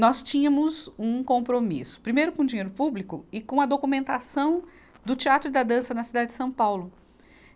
Nós tínhamos um compromisso, primeiro com o dinheiro público e com a documentação do teatro e da dança na cidade de São Paulo.